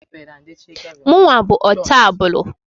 Mụnwa bụ ọtabụlụ.